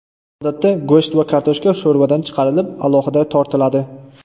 Odatda go‘sht va kartoshka sho‘rvadan chiqarilib, alohida tortiladi.